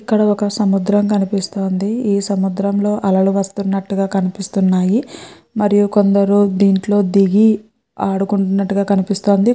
ఇక్కడ ఒక సముద్రం కనిపిస్తోంది. ఈ సముద్రం లో అలలు వస్తు నటు గ కనిపిస్తున్నాయి. మరి కొందరు దింట్లో దిగి ఆడుతున్నటుగా కినిపిస్తోంది.